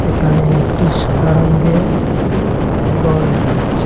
এখানে একটি সাদা রঙ্গের ঘর দেখা যাচ্ছে।